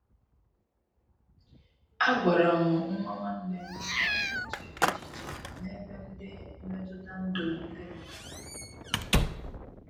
A gwara m nwa nwanne m ka ọ na- eche echiche n' ebe ndị mmetụta ndụ ndị mmadu no.